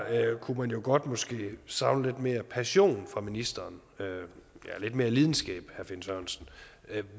kunne man jo godt måske savne lidt mere passion fra ministeren lidt mere lidenskab